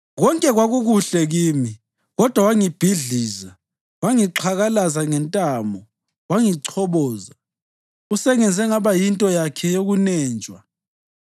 Konke kwakukuhle kimi, kodwa wangibhidliza; wangixhakalaza ngentamo wangichoboza. Usengenze ngaba yinto yakhe yokunenjwa;